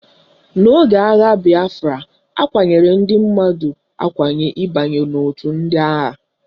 N'oge agha bịafra, akwanyere ndị mmadụ akwanye ịbanye otu ndị agha